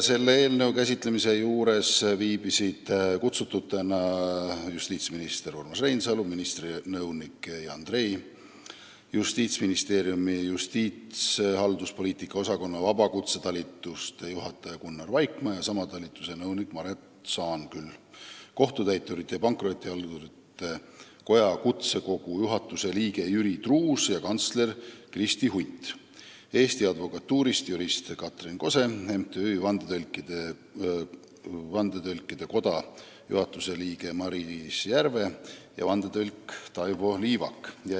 Selle eelnõu käsitlemise juures viibisid kutsututena justiitsminister Urmas Reinsalu, ministri nõunik Jan Trei, Justiitsministeeriumi justiitshalduspoliitika osakonna vabakutsete talituse juhataja Gunnar Vaikmaa ja sama talituse nõunik Maret Saanküll, Kohtutäiturite ja Pankrotihaldurite Koja kutsekogu juhatuse liige Jüri Truuts ja kantsler Kristi Hunt, Eesti Advokatuurist jurist Katrin Kose ning MTÜ-st Vandetõlkide Koda juhatuse liige Maris Järve ja vandetõlk Taivo Liivak.